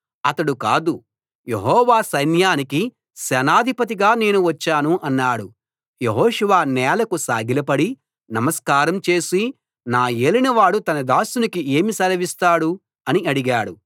అతడు కాదు యెహోవా సైన్యానికి సేనాధిపతిగా నేను వచ్చాను అన్నాడు యెహోషువ నేలకు సాగిలపడి నమస్కారం చేసి నా యేలినవాడు తన దాసునికి ఏమి సెలవిస్తాడు అని అడిగాడు